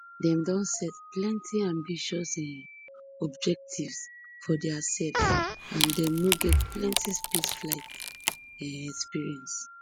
dem don set plenti ambitious um objectives for diasefs and dem no get plenti spaceflight um experience